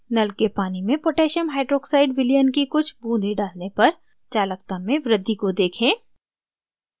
नल के पानी में पोटैसियम hydroxide विलयन की कुछ बूँदें डालने पर चालकता में वृद्धि को देखें